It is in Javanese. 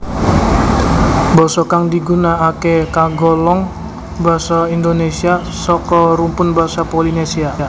Basa kang digunakake kagolong basa Indonesia saka rumpun basa Polinesia